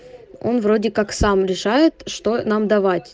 он вроде как сам решает что нам давать